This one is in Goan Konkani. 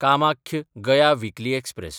कामाख्य–गया विकली एक्सप्रॅस